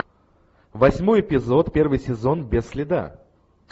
восьмой эпизод первый сезон без следа